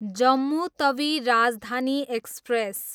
Jammu Tawi Rajdhani express